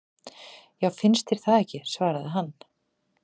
Já, finnst þér það ekki svaraði hann.